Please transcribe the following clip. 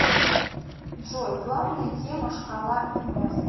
джой главная тема шкала инес